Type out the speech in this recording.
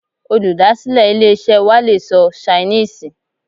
Olùdásílè ilé-isẹ́ wa le sọ Ṣainíìsì